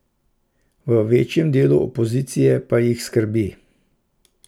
V večjem delu opozicije pa jih skrbi.